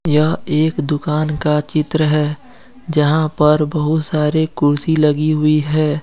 यह एक दुकान का चित्र है जहां पर बहुत सारे कुर्सी लगी हुई है।